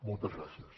moltes gràcies